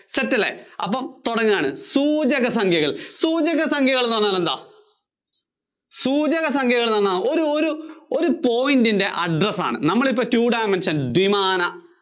set അല്ലേ അപ്പം തുടങ്ങുകയാണ് സൂചക സംഖ്യകൾ സൂചക സംഖ്യകള്‍ എന്നു പറഞ്ഞാൽ സൂചക സംഖ്യകള്‍ എന്താ ഒരു ഒരു point ന്‍റെ address ആണ് നമ്മളിപ്പോ two dimensional ദ്വിമാന